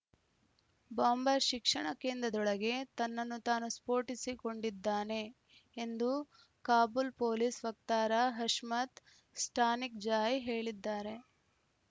bomber ಶಿಕ್ಷಣ ಕೇಂದ್ರದೊಳಗೆ ತನ್ನನ್ನು ತಾನು ಸ್ಫೋಟಿಸಿಕೊಂಡಿದ್ದಾನೆ ಎಂದು ಕಾಬೂಲ್‌ ಪೊಲೀಸ್‌ ವಕ್ತಾರ ಹಷ್ಮತ್‌ ಸ್ಟಾನಿಕ್‌ಜಾಯ್‌ ಹೇಳಿದ್ದಾರೆ